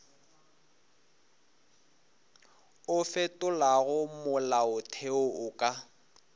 o fetolago molaotheo o ka